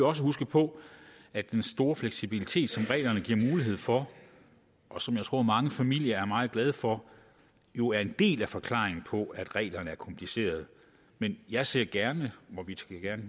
også huske på at den store fleksibilitet som reglerne giver mulighed for og som jeg tror mange familier er meget glade for jo er en del af forklaringen på at reglerne er komplicerede men jeg ser gerne og vi skal gerne